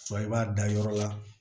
i b'a da yɔrɔ la